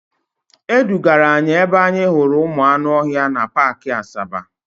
E dugara anyị ebe anyị hụrụ ụmụ anụ ọhịa na paakị Asaba.